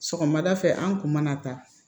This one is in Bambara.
Sɔgɔmada fɛ an kun mana taa